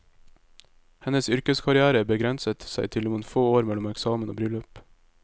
Hennes yrkeskarrière begrenset seg til noen få år mellom eksamen og bryllup.